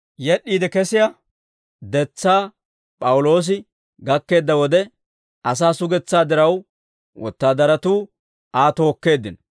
Yed'd'iide kesiyaa detsaa P'awuloosi gakkeedda wode, asaa sugetsaa diraw, wotaadaratuu Aa tookkeeddino.